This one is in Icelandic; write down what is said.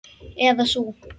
Eða sú.